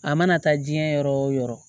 A mana taa jiyɛn yɔrɔ o yɔrɔ